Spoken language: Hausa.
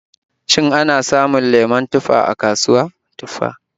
Shin ana samun lemon tufa a kasuwa?